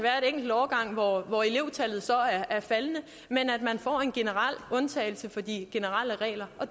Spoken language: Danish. enkel årgang hvor elevtallet er faldende men får en undtagelse fra de generelle regler